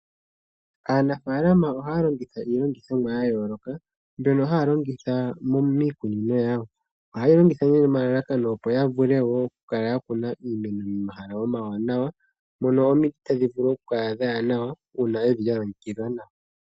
Aanafalama oha ya longitha iilongithomwa ya yooloka mbyono haya longitha miikunino yawo. Ohaye yi longitha nomalalakano opo ya vule wo okukala ya kuna iimeno momahala omawanawa, mono omiti hadhi vulu okula omiwanawa uuna yedhi longekidha nawa.